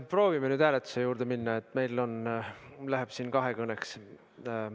Proovime nüüd hääletuse juurde minna, meil läheb siin muidu kahekõneks.